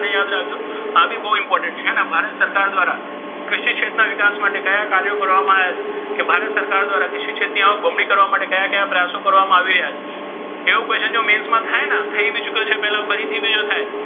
આ બી બહુ important છે. ભારત સરકાર દ્વારા કૃષિ ક્ષેત્રના વિકાસ માટે કયા કાર્યો કરવામાં આવ્યા છે? કે ભારત સરકાર દ્વારા કૃષિ ક્ષેત્રને આવક બમણી કરવા માટે કયા કયા પ્રયાસો કરવામાં આવી રહ્યા છે? એવું question જો mains માં થાય ને તો એબી ચૂકે છે પહેલા ફરીથી બીજો થાય.